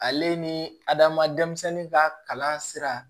Ale ni adama denmisɛn ka kalan sira